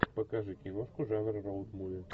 покажи киношку жанр роуд муви